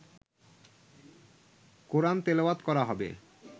কোরআন তেলাওয়াত করা হবে